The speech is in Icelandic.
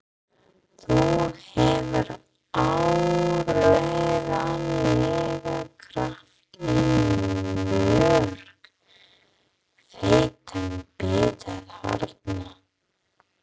Þú hefur áreiðanlega krækt í mjög feitan bita þarna!